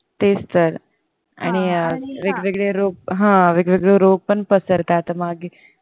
तेच तर आणि हा वेगवेगळे रोग हा वेगवेगळे रोग पण पसरतात मागे